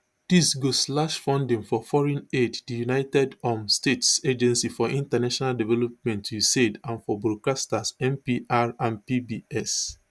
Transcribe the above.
dis go slash funding for foreign aid di united um states agency for international development usaid and for broadcasters npr and pbs